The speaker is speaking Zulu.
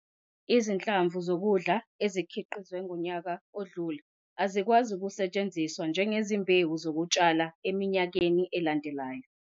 Izinhlamvu zokudla ezikhiqizwe ngonyaka odlule azikwazi ukusetshenziswa njengezimbewu zokutshala iminyaka elandelayo.